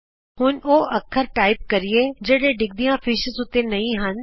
ਆਉ ਹੁਣ ਉਹ ਅੱਖਰ ਟਾਈਪ ਕਰੀਏ ਜਿਹੜੇ ਡਿੱਗਦੀਆਂ ਮੱਛੀਆਂ ਉੱਤੇ ਨਹੀਂ ਹਨ